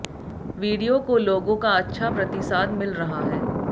video को लोगो का अच्छा प्रतिसाद मिल रहा हैं